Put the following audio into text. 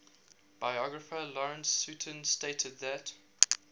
biographer lawrence sutin stated that